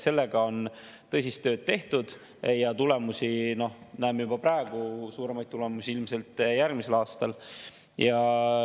Sellega on tõsist tööd tehtud ja tulemusi näeme juba praegu, suuremaid tulemusi ilmselt järgmisel aastal.